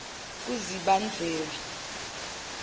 kuzibandlela